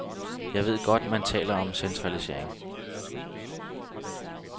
Jeg ved godt, man taler om centralisering.